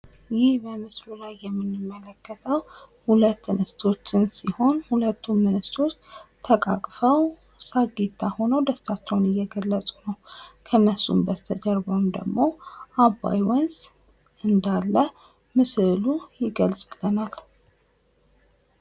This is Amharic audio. ይህ በምስሉ ላይ የምንመለከተው ሁለት እንስቶችን ሲሆን ሁለቱም እንስቶች ተቃቅፈው ሳቂታ ሁነው ደስታቸውን እየገለፁ ነው። ከነሱም በስተጀርባም ደሞ አባይ ወንዝ እንዳለ ምስሉ ይገልፅልናል።